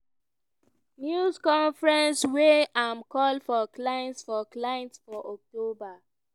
news conference wia im call for clients for clients for october.